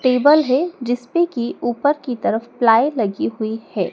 Table है जिस पे की ऊपर की तरफ प्लाई लगी हुई है।